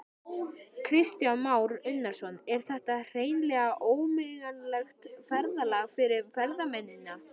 Kristján Már Unnarsson: Er þetta hreinlega ógleymanlegt ferðalag fyrir ferðamennina?